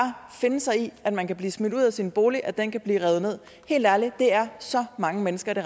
finde sig i at man kan blive smidt ud af sin bolig at den kan blive revet ned helt ærligt det er så mange mennesker det